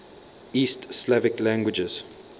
east slavic languages